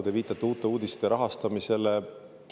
Te viitasite Uute Uudiste rahastamisele.